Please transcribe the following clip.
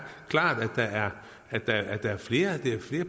klart at der er flere